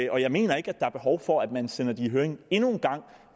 og jeg mener ikke at der er behov for at man sender det i høring endnu